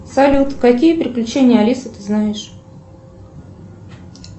салют какие приключения алисы ты знаешь